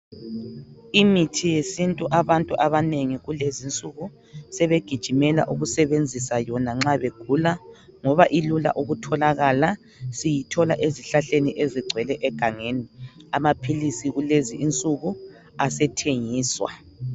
Imithi yesintu abantu abanengi kulezinsuku sebegiijimela ukusebenzisa yona nxa begula ngoba ilula ukutholakala. Siyithola ezihlahleni ezigcwele egangeni. Amaphilisi kulezinsuku asethengiswa.